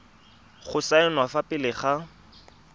go saenwa fa pele ga